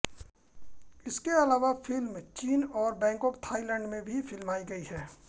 इसके अलावा फ़िल्म चीन और बैंकॉक थाईलैंड में भी फ़िल्माई गयी है